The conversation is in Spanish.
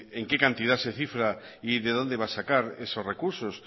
en qué cantidad se cifra y de dónde va a sacar esos recursos